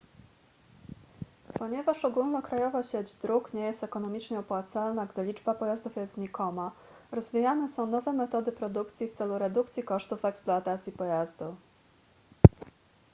ponieważ ogólnokrajowa sieć dróg nie jest ekonomicznie opłacalna gdy liczba pojazdów jest znikoma rozwijane są nowe metody produkcji w celu redukcji kosztów eksploatacji pojazdu